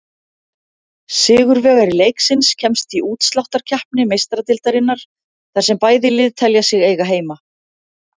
Sigurvegari leiksins kemst í útsláttarkeppni Meistaradeildarinnar, þar sem bæði lið telja sig eiga heima.